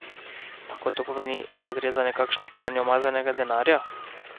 Lahko to pomeni, da gre za nekakšno pranje umazanega denarja?